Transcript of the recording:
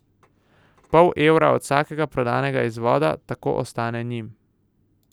Pol evra od vsakega prodanega izvoda tako ostane njim.